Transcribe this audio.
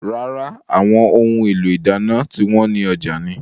Rárá, àwọn ohun èlò ìdáná tí wọn ní ọjà ni.